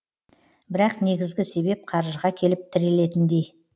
бірақ негізгі себеп қаржыға келіп тірелетіндей